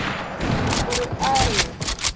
ho re ha e ye